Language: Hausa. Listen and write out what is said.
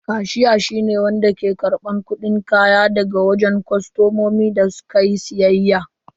Kashiya shi ne wanda ke karban kudin kaya daga wajen kostomomi da su ka yi siyayya.